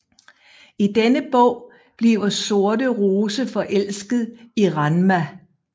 I denne bog bliver sorte rose forelsket i Ranma